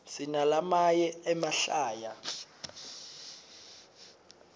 sinalamaye emahlaya